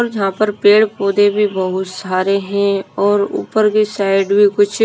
और यहां पर पेड़ पौधे भी बहुत सारे हैं और ऊपर की साइड भी कुछ--